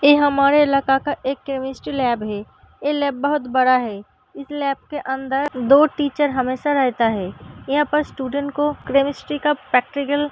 एह हमारे इलाके का एक केमिस्ट्री लैब है। एह लैब बहुत बड़ा है। इस लैब के अंदर दो टीचर हमेशा रहता है। यहाँ पर स्टूडेंट को क्रेमिस्ट्री का पैकट्रिकल --